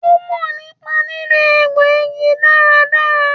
Ó mò nípa lílò egbò igi dáradára